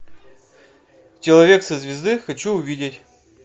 человек со звезды хочу увидеть